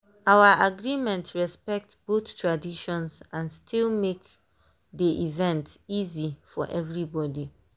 our agreement respect both traditions and still make dey event easy for everybody.